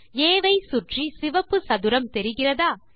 ஆ ஐ சுற்றி சிவப்பு சதுரம் தெரிகிறதா160